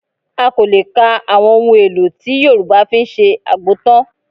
A kò lè kan àwọn ohun-èlò tí Yorùbá fi ń ṣe àgbo tán